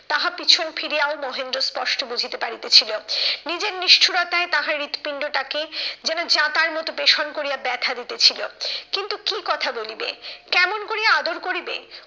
তাহা পিছন ফিরিয়াও মহেন্দ্র স্পষ্ট বুঝিতে পারিতেছিল। নিজের নিষ্ঠূরতাই তাহার হৃদপিন্ডটাকে যেন যাঁতার মতো পেশন করিয়া ব্যথা দিতেছিল। কিন্তু কি কথা বলিবে? কেমন কোরিয়া আদর করিবে?